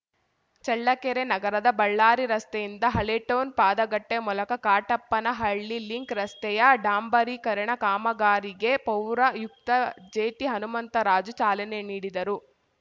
ಚಳ್ಳಕೆರೆ ನಗರದ ಬಳ್ಳಾರಿ ರಸ್ತೆಯಿಂದ ಹಳೇಟೌನ್‌ ಪಾದಗಟ್ಟೆಮೂಲಕ ಕಾಟಪ್ಪನಹಟ್ಟಿಲಿಂಕ್‌ ರಸ್ತೆಯ ಡಾಂಬರೀಕರಣ ಕಾಮಗಾರಿಗೆ ಪೌರಾಯುಕ್ತ ಜೆಟಿಹನುಮಂತರಾಜು ಚಾಲನೆ ನೀಡಿದರು